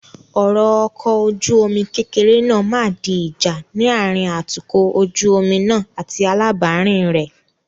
Ọ̀rọ̀ ọkọ ojú omi kékeré náà máa di ìjà ní àárín atukọ̀ ojú omi náà àti alábàárìn rẹ.